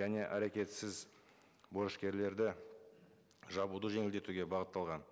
және әрекетсіз борышкерлерді жабуды жеңілдетуге бағытталған